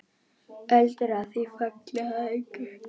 Öldur á því falla að engu.